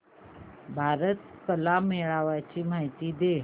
भारत कला मेळावा ची माहिती दे